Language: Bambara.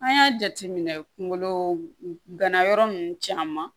An y'a jateminɛ kunkolo gana yɔrɔ nunnu caman